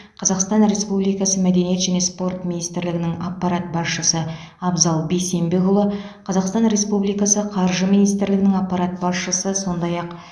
қазақстан республикасы мәдениет және спорт министрлігінің аппарат басшысы абзал бейсенбекұлы қазақстан республикасы қаржы министрлігінің аппарат басшысы сондай ақ